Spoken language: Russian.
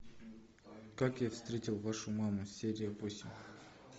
как я встретил вашу маму серия восемь